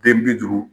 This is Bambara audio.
Den bi duuru